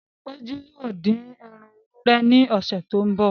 Péjú yóò dín ẹran ewúrẹ́ ní ọsẹ tó n bọ